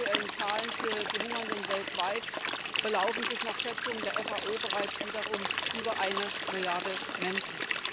Und die aktuellen Zahlen für die Hungernden weltweit belaufen sich nach Schätzungen der FAO bereits wiederum auf über eine Milliarde Menschen.